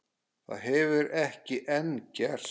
Það hefur ekki enn gerst.